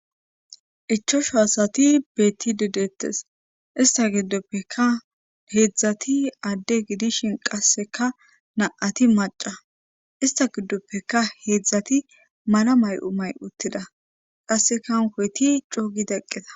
Ichosho asati beetti dedeettes ista giddoppeka heedzdzati aadde gidishin qasseka na'ati maca ista giddoppeka heedzdzati mala may'o may uttida qassekankoyti coogida eqqeta